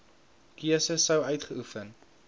keuse sou uitgeoefen